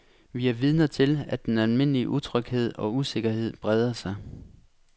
Vi er vidner til, at den almindelige utryghed og usikkerhed breder sig.